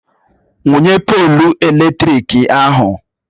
Wụnye poolu eletrik ahụ!